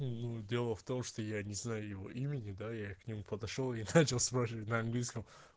ну дело в том что я не знаю его имени да я к нему подошёл и начал спрашивать на английском